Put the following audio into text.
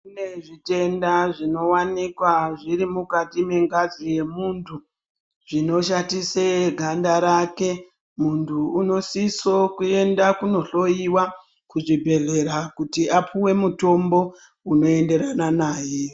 Kune zvitenda zvinowanikwa zviri ukati mengazi yemunthu zvinoshatise ganda remunthu, munthu unosise kuenda kunohloiwa kuzvibhedhlera kuti apuwe mitombo unoenderana naye.